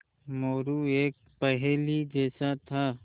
मोरू एक पहेली जैसा था